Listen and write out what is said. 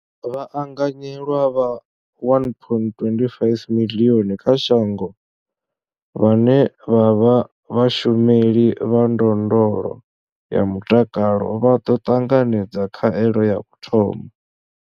Vhaanganyelwa vha 1.25 miḽioni kha shango vhane vha vha vhashumeli vha ndondolo ya mutakalo vha ḓo ṱanganedza khaelo ya u thoma.